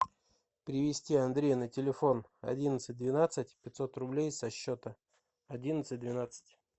перевести андрею на телефон одиннадцать двенадцать пятьсот рублей со счета одиннадцать двенадцать